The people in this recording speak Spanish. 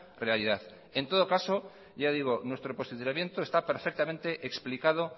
realidad en todo caso ya digo nuestro posicionamiento está perfectamente explicado